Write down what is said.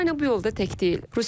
Ukrayna bu yolda tək deyil.